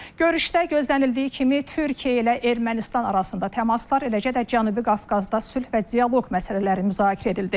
Görüşdə gözlənildiyi kimi Türkiyə ilə Ermənistan arasında təmaslar, eləcə də Cənubi Qafqazda sülh və dialoq məsələləri müzakirə edildi.